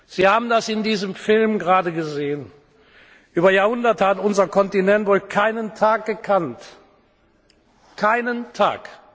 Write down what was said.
Sie haben das in diesem Film gerade gesehen Über Jahrhunderte hat unser Kontinent wohl keinen Tag gekannt keinen